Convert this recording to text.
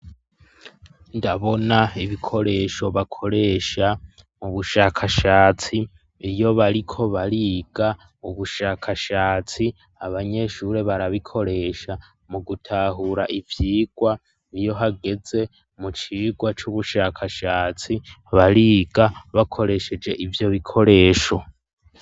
ndabona ibikoresho bakoresha mu bushakashatsi iyo bariko bariga ubushakashatsi abanyeshuri barabikoresha mu gutahura ivyigwa iyo hageze mu cigwa c,ubushakashatsi bariga bakoresheje ivyo bikoresho.